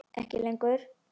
Ekki lengur.